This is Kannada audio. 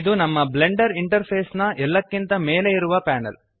ಇದು ನಮ್ಮ ಬ್ಲೆಂಡರ್ ಇಂಟರ್ಫೇಸ್ನ ಎಲ್ಲಕ್ಕಿಂತ ಮೇಲೆ ಇರುವ ಪ್ಯಾನೆಲ್